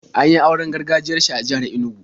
An yi auren gargajiyar shi a jihar Inugu.